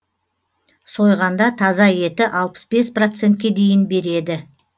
сойғанда таза еті алпыс бес процентке дейін береді